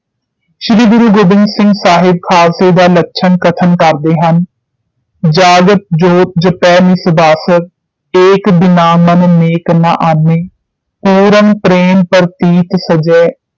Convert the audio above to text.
ਸ਼੍ਰੀ ਗੁਰੂ ਗੋਬਿੰਦ ਸਿੰਘ ਸਾਹਿਬ ਖਾਲਸੇ ਦਾ ਲੱਛਣ ਕਥਨ ਕਰਦੇ ਹਨ ਜਾਗਤ ਜੋਤਿ ਜਪੈ ਨਿਸਬਾਸੁਰ ਏਕ ਬਿਨਾ ਮਨ ਨੈਕ ਨ ਆਨੈ ਪੂਰਨ ਪ੍ਰੇਮ ਪ੍ਰੀਤ ਸਜੈ